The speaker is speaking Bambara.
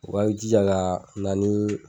U ka jija ka na ni